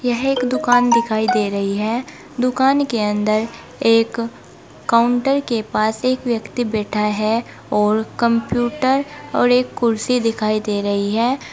यह एक दुकान दिखाई दे रही है दुकान के अंदर एक काउंटर के पास एक व्यक्ति बैठा है और कंप्यूटर और एक कुर्सी दिखाई दे रही है।